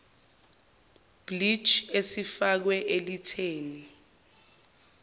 bleach esifakwe elitheni